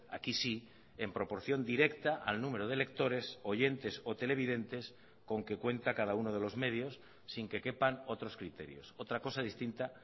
aquí sí en proporción directa al número de lectores oyentes o televidentes con que cuenta cada uno de los medios sin que quepan otros criterios otra cosa distinta